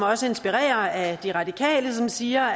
også inspirere af de radikale som siger